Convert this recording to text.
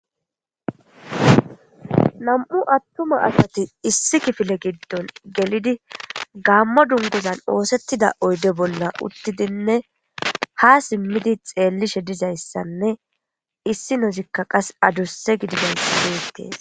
nam7u attuma asati issi kifile giddon gelidi gamma dunguzan oosettida oyde bolla uttidinne ha simmidi xeellishe dizayssanne issi nozikka qas adurse gidigaysideetee